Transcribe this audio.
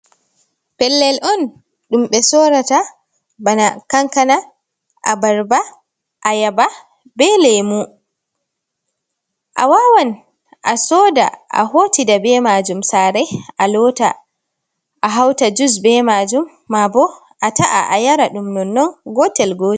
Pellel on dum be sorata bana kankana a barba a yaba be lemu, a wawan a soda a hotida be majum sarai a lota a hauta jus be majum mabo a ta’a a yara dumnon non gotel gotel.